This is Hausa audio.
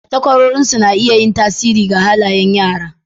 Takwarorinsu na iya yin tasiri ga halayen yara.